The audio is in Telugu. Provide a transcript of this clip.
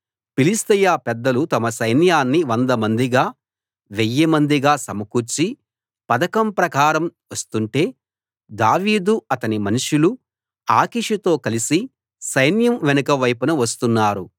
ఫిలిష్తీయ పెద్దలు తమ సైన్యాన్ని వందమందిగా వెయ్యిమందిగా సమకూర్చి పథకం ప్రకారం వస్తుంటే దావీదు అతని మనుషులు ఆకీషుతో కలిసి సైన్యం వెనుక వైపున వస్తున్నారు